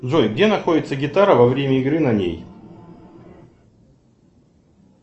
джой где находится гитара во время игры на ней